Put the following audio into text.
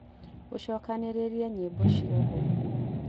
ũcokanĩrĩrie nyĩmbo ciothe